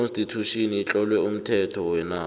j constitution itlowe umthetho wenarha